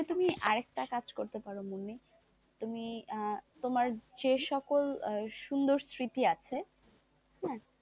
তবে তুমি আরেকটা কাজ করতে পারো মুন্নি তুমি আহ তোমার যে সকল সুন্দর স্মৃতি আছে,